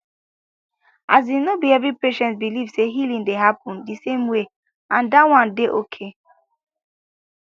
asin no be every patient believe say healing dey happen di same way and that one dey okay